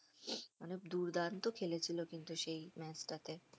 মানে দুর্দান্ত খেলেছিল কিন্তু সেই ম্যাচটাতে